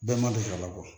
Bɛɛ ma deli ka labɔ